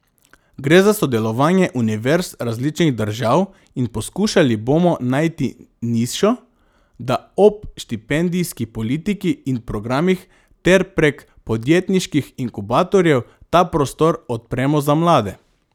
Gre za sodelovanje univerz različnih držav in poskušali bomo najti nišo, da ob štipendijski politiki in programih ter prek podjetniških inkubatorjev ta prostor odpremo za mlade.